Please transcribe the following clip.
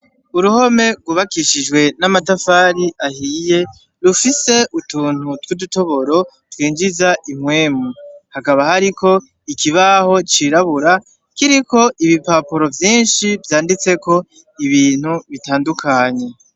Uruhome rwubakishijwe n'amatafari ahiye rufise utuntu tw'utudutoboro twinjiza impwemu ,hakaba hariko ikibaho cirabura kiriko ibipapuro vyinshi vyanditseko ibintu bitandukanye.